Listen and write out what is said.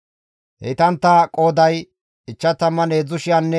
Heytantta qooday 53,400.